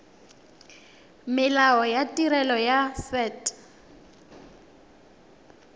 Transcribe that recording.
molao wa tirelo ya set